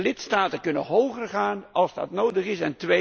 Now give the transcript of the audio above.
Lidstaten kunnen hoger gaan als dat nodig is.